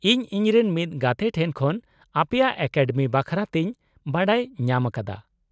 -ᱤᱧ ᱤᱧᱨᱮᱱ ᱢᱤᱫ ᱜᱟᱛᱮ ᱴᱷᱮᱱ ᱠᱷᱚᱱ ᱟᱯᱮᱭᱟᱜ ᱮᱠᱟᱰᱮᱢᱤ ᱵᱟᱠᱷᱨᱟᱛᱮᱧ ᱵᱟᱰᱟᱭ ᱧᱟᱢ ᱟᱠᱟᱫᱟ ᱾